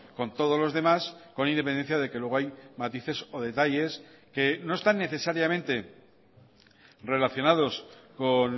con todos los demás con independencia de que luego hay matices o detalles que no están necesariamente relacionados con